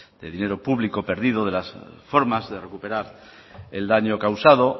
de dinero público perdido de las formas de recuperar el daño causado